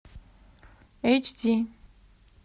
эйч ди